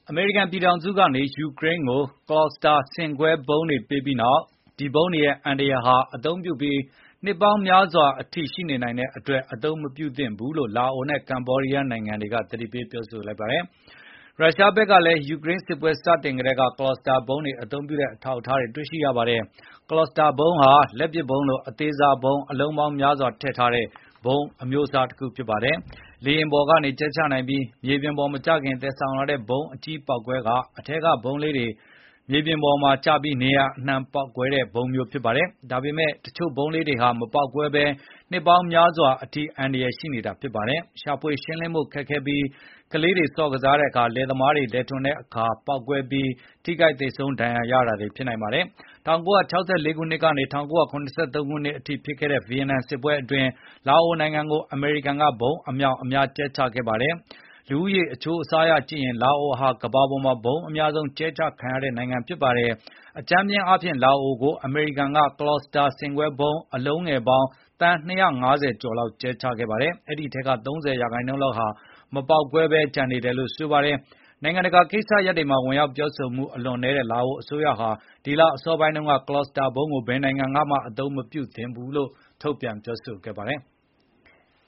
အမေရိကန်ပြည်ထောင်စုကနေ ယူကရိန်းကို ကလာစတာ ဆင့်ကွဲဗုံး Cluster bomb လက်နက်တွေပေးပြီးနောက်၊ ဒီဗုံးတွေရဲ့အန္တရယ်ဟာ အသုံးပြုပြီး နှစ်ပေါင်းများစွာအထိ ရှိနေနိုင်တဲ့အတွက် အသုံးမပြုသင့်ဘူးလို့ လာအိုနဲ့ ကမ္ဘောဒီးယားနိုင်ငံတွေက သတိပေးပြောဆိုခဲ့ပါတယ်။ ရုရှားဘက်ကလည်း ယူကရိန်းစစ်ပွဲ စတင်ကတည်းက Cluster bomb တွေ အသုံးပြုတဲ့အထောက်အထားတွေ ရှိခဲ့ပါတယ်။ ဒီဗုံးအမျိုးအစားဟာ လက်ပစ်ဗုံးလို အသေးစားဗုံး အလုံးပေါင်းများစွာထည့်ထားတဲ့ ဗုံးအမျိုးအစားဖြစ်ပါတယ်။ လေယဉ်ပေါ်ကနေ ကြဲချနိုင်ပြီး၊ မြေပြင်ပေါ်မကျခင် သယ်ဆောင်လာတဲ့ ဗုံးအကြီးပေါက်ကွဲပြီး၊ အထဲမှာပါတဲ့ ဗုံးလေးတွေက မြေပြင်ပေါ်ကျပြီး နေရာအနှံ့မှာပေါက်ကွဲတာဖြစ်ပါတယ်။ ဒါပေမဲ့ တချို့ဗုံးလေးတွေဟာ မပေါက်ကွဲဘဲ နှစ်ပေါင်းများစွာအထိ အန္တရယ်ရှိနေတာဖြစ်ပါတယ်။ ရှာဖွေရှင်းလင်းဖို့လည်း ခက်ခဲပါတယ်။ ကလေးတွေ ဆော့ကစားတဲ့အခါ၊ လယ်သမားတွေ လယ်ထွန်တဲ့အခါပေါက်ကွဲပြီး ဒဏ်ရာရ သေဆုံးမှုတွေ ရှိနိုင်ပါတယ်။ ၁၉၆၄ ခုနှစ်ကနေ ၁၉၇၃ နှစ်အထိဖြစ်ခဲ့တဲ့ ဗီယက်နမ်စစ်ပွဲအတွင်း လာအိုနိုင်ငံကို အမေရိကန်က ဗုံးအမြောက်အများ ကြဲချခဲ့ပါတယ်။ လူဦးရေအချိုးအစားအရကြည့်ရင် လာအိုဟာ ကမ္ဘာပေါ်မှာ ဗုံးအများဆုံး ကြဲအချခံရတဲ့ နိုင်ငံဖြစ်ပါတယ်။ အကြမ်းဖျဉ်းအားဖြင့် လာအိုကို အမေရိကန်က Cluster bomb အလုံးငယ်ပေါင်း သန်း ၂၅၀ ကျော်လောက် ကြဲချခဲ့ပါတယ်။ အဲဒီအထဲက ၃၀ ရာနှုန်းလောက်ဟာ မပေါက်ကွဲပဲ ကျန်ရှိနေတယ်လို့ ဆိုပါတယ်။ နိုင်ငံတကာ ကိစ္စရပ်တွေမှာ ဝင်ရောက်ပြောဆိုမှု အလွန်နည်းတဲ့ လာအိုအစိုးရဟာ ဒီလ အစောပိုင်းတုန်းက Cluster bomb ကို ဘယ်နိုင်ငံကမှ မသုံးသင့်ဘူးလို့ ထုတ်ပြန် သတိပေးခဲ့ပါတယ်။